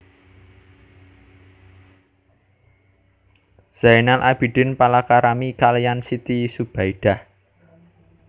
Zainal Abidin palakrami kaliyan Siti Zubaidah